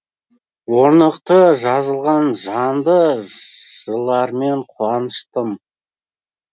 орнықты жазылған жанды жыыылармен қуаныштым